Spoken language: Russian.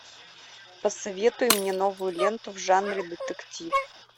посоветуй мне новую ленту в жанре детектив